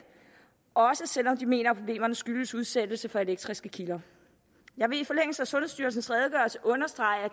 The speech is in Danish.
også selv om de mener at problemerne skyldes udsættelse for elektriske kilder jeg vil i forlængelse af sundhedsstyrelsens redegørelse understrege